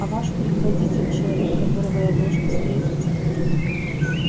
а ваш предводитель человек которого я должен встретить